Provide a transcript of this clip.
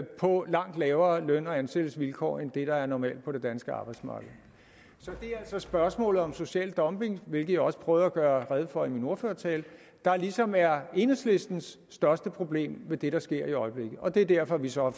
på langt dårligere løn og ansættelsesvilkår end det der er normalt på det danske arbejdsmarked så det er altså spørgsmålet om social dumping hvilket jeg også prøvede at gøre rede for i min ordførertale der ligesom er enhedslistens største problem ved det der sker i øjeblikket og det er derfor vi så har